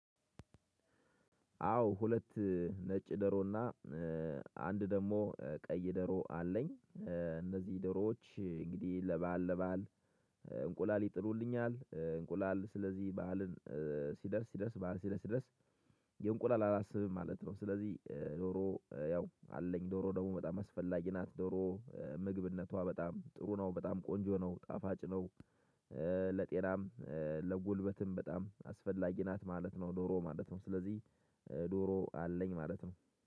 አዎ ሁለት ነጭ ዶሮና አንድ ደግሞ ቀይ ዶሮ አለኝ እነዚህ ደሮዎች እንግዲህ ለበአል ለበአል እንቁላል ይጥሉልኛል። እንቁላል ስለዚህ በዓልን ሲደርስ ደርስ በዓል ሲደርስ ሲደርስ የእንቁላል አላስብም ማለት ነው። ስለዚህ ዶሮ ያው አለኝ ዶሮ ደግሞ በጣም አስፈላጊ ናት። ዶሮ ምግብነቷ በጣም ጥሩ ነው በጣም ቆንጆ ነው ጣፋጭ ነው። ለጤናም ለጉልበትም በጣም አስፈላጊ ናት ማለት ነው። ዶሮ ማለት ነው ስለዚህ ዶሮ አለኝ ማለት ነው